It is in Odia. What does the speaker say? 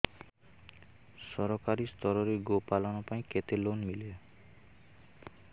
ସରକାରୀ ସ୍ତରରେ ଗୋ ପାଳନ ପାଇଁ କେତେ ଲୋନ୍ ମିଳେ